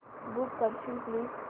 book करशील please